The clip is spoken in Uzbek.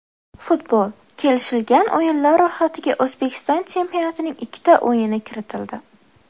Futbol: kelishilgan o‘yinlar ro‘yxatiga O‘zbekiston chempionatining ikkita o‘yini kiritildi.